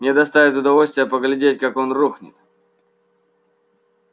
мне доставит удовольствие поглядеть как он рухнет